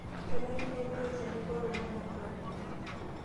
Kenare nepiki olchani kat ong'wan tenkolong.